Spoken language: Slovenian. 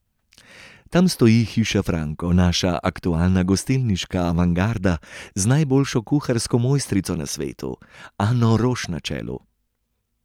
Tam stoji Hiša Franko, naša aktualna gostilniška avantgarda z najboljšo kuharsko mojstrico na svetu Ano Roš na čelu.